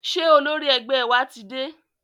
Ṣé olórí ẹgbẹ́ wa ti dé?